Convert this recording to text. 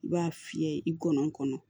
I b'a fiyɛ i gɔɔnɔn kɔnɔ